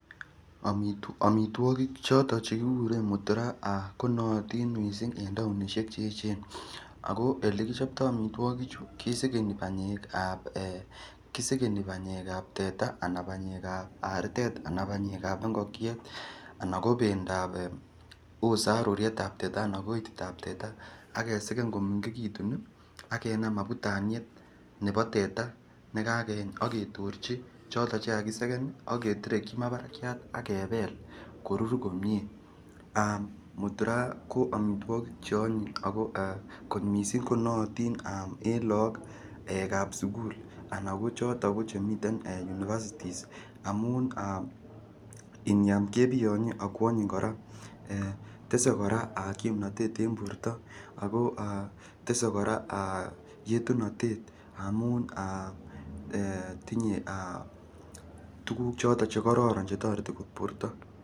amituagig choton che kikuren muturaa ah konootin missing en taonisiek cheechen. Ako olekichobto amituakik chu kesegeni panyekab eh kisegeni panyekab teta anan panyekab artet anan panyekab anan panyekab ingokiet anan panyekab ookot saruriteb teta ana ititab teta akesegen komengekitun ih akenaam abutaniet nebo teta nekokeny ake torchi choton chekakisegen aketerekchi ma barakiat akebel korur komie, muturaa koamituagik cheanyin ako kot missing konaaitiin en lakokab sukul anan ko choton ko chemiten university amuun iniam kebitonye akoanyin kora tese kora kimnatet en borto ako tese yetunotet amuun tinye ahh tuguk choton che kororon chetoreti borto.